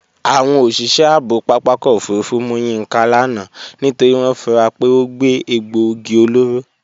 Àwọn òṣìṣẹ́ ààbò pápákọ̀ òfurufú mú Yínká lánàá nítorí wọ́n fura pé ó gbé egbòogi olóró